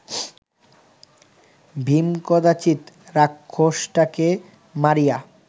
ভীম কদাচিৎ রাক্ষসটাকে মারিয়া